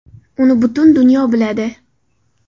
Uni butun dunyo biladi.